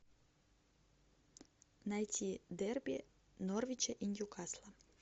найти дерби норвича и ньюкасла